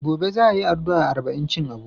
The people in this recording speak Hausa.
Gobe za a yi ardu'a arba'incin Abu.